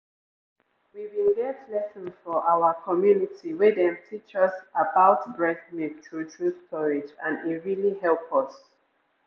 we bin get lesson for our community wey dem teach us about breast milk true true storage and e really help us.